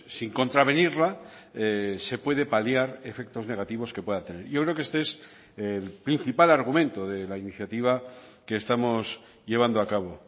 sin contravenirla se puede paliar efectos negativos que pueda tener yo creo que este es el principal argumento de la iniciativa que estamos llevando acabo